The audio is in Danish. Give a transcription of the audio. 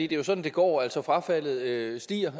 det er sådan det går altså at frafaldet stiger